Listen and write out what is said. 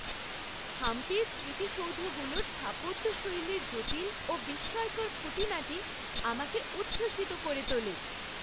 হাম্পির স্মৃতিসৌধগুলোর স্থাপত্যশৈলীর জটিল ও বিস্ময়কর খুঁটিনাটি আমাকে উচ্ছ্বসিত করে তোলে।